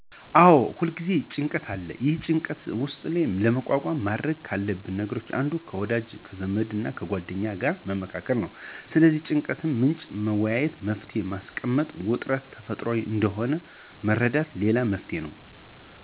አዎ ሁልጊዜም ጭንቀት አለ። ይህንን ጭንቀትና ውጥረት ለመቋቋም ማድረግ ካለብን ነገሮች አንዱ ከወዳጅ ዘመድና ጓደኛ ጋር መመካከር ነው። ስለ ጭንቀቱ ምንጭ መወያየትና መፍትሔ ማስቀመጥ፣ ውጥረት ተፈጥሯዊ እንደሆነ መረዳትም ሌላው መፍትሔ ነው።